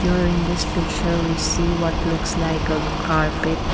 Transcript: here in this picture we see what looks like a carpet.